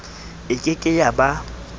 e ke ke ya ba